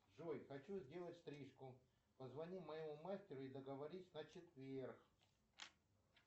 джой хочу сделать стрижку позвони моему мастеру и договорись на четверг